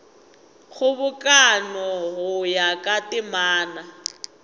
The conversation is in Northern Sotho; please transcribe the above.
kgobokano go ya ka temana